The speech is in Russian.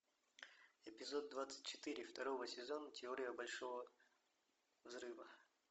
эпизод двадцать четыре второго сезона теория большого взрыва